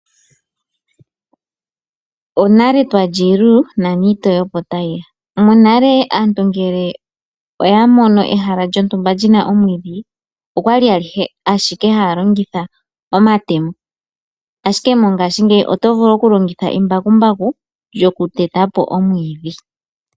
Onale twa li iilulu nani iitoye opo tayi ya. Monale aantu ngele oya mono ehala lyontumba li na omwiidhi oya li ashike haa longitha omatemo, ashike mongashingeyi oto vulu okulongitha embakumbaku lyokuteta po omwiidhi.